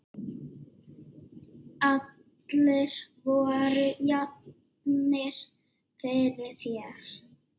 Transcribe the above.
Allir voru jafnir fyrir þér.